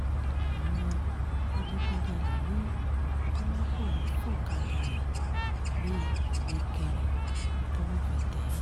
àwọn adigunjalè ní kọ́lápọ̀ ń fọ̀kadà ẹ̀ gbé nìkìrẹ̀ tọ́wọ́ fi tẹ̀ ẹ́